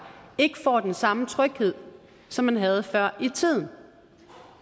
ikke får den samme tryghed som man havde før i tiden